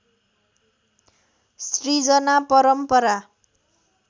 सृजना परम्परा